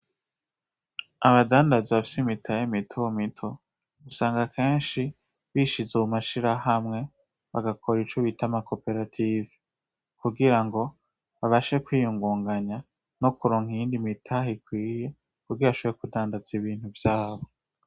Abadandaza bafise imitahe mito mito usanga kenshi bishize mu mashirahamwe bagakora ico bita amakoperative, kugira ngo babashe kwiyingunganya no kuronka iyindi mitahe ikwiye kugira bashobore kudandaza ibintu vyabo.